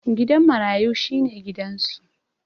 Gidan marayu shi ne gidansu.